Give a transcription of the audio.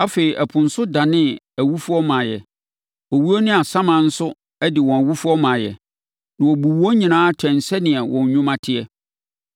Afei, ɛpo nso danee nʼawufoɔ maeɛ. Owuo ne asaman nso de wɔn awufoɔ maeɛ. Na wɔbuu wɔn nyinaa atɛn sɛdeɛ wɔn nnwuma teɛ.